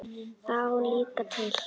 Það á ég líka til.